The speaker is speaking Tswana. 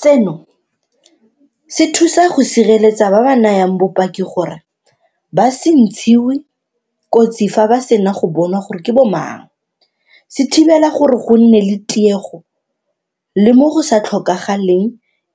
Seno se thusa go sireletsa ba ba nayang bopaki gore ba se ntshiwe kotsi fa ba sena go bonwa gore ke bo mang, se thibela gore go se nne le tiego le mo go sa tlhokagaleng